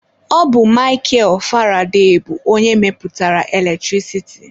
Ọ bụ Mikel Faraday bụ onye mepụtara eletrik.